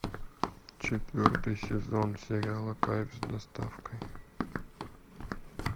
четвертый сезон сериала кайф с доставкой